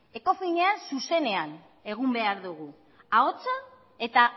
ecofinean zuzenean egun behar dugu ahotsa eta